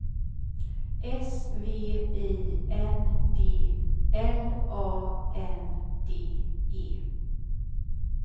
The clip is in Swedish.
S V I N D L A N D E